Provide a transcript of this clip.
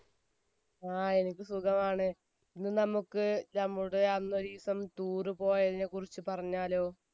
ങ്ഹാ എനിക്ക് സുഖമാണ്, ഇനി നമുക്ക് നമ്മുടെ അന്നോരിസം tour പോയതിനെക്കുറിച്ച് പറഞ്ഞാലോ